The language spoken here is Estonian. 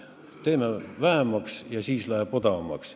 Võtame vähemaks ja siis läheb odavamaks.